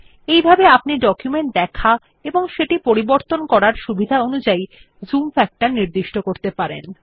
এইভাবে আপনি ডকুমেন্ট দেখা ও সেটি পরিবর্তন করার সুবিধা অনুযায় জুম ফ্যাক্টর নির্দিষ্ট করতে পারেন